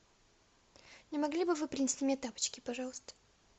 не могли бы вы принести мне тапочки пожалуйста